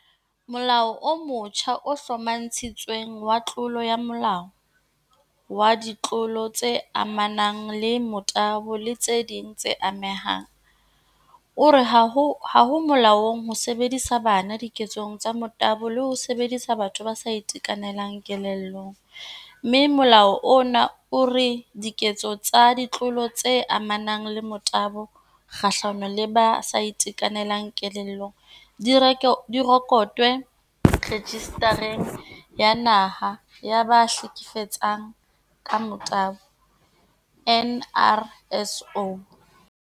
Molao o motjha o Hlomathisitsweng wa Tlolo ya molao wa Ditlolo tse amanang le Motabo le tse ding tse Amehang o re ha ho molaong ho sebedisa bana diketsong tsa motabo le ho sebedisa batho ba sa itekanelang kelellong, mme molao ona o re diketso tsa ditlolo tse amanang le motabo kgahlano le ba sa itekanelang kelellong di rekotwe Rejista reng ya Naha ya ba Hleke fetsang ka Motabo NRSO.